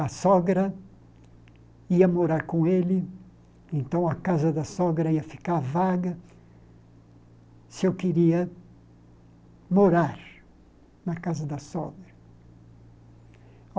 A sogra ia morar com ele, então a casa da sogra ia ficar vaga se eu queria morar na casa da sogra.